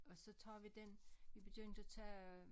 Og så tager vi den vi begyndt at tage